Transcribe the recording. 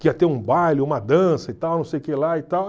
Que ia ter um baile, uma dança e tal, não sei o que lá e tal.